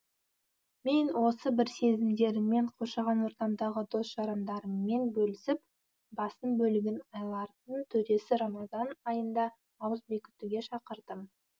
мен осы бір сезімдеріммен қоршаған ортамдағы дос жарандарыммен бөлісіп басым бөлігін айлардың төресі рамазан айында ауыз бекітуге шақырдым